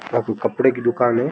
यहाँ पे कपडे की दुकान है।